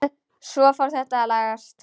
Svo fór þetta að lagast.